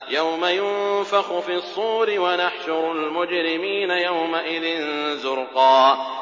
يَوْمَ يُنفَخُ فِي الصُّورِ ۚ وَنَحْشُرُ الْمُجْرِمِينَ يَوْمَئِذٍ زُرْقًا